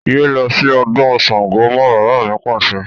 Yé lọ sí ọdún Sángo mọ́! Bàbá mi Pàṣẹ.